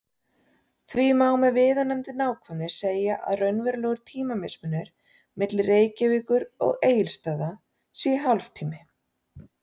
Því má með viðunandi nákvæmni segja að raunverulegur tímamismunur milli Reykjavíkur og Egilsstaða sé hálftími.